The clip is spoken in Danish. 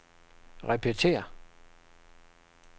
repetér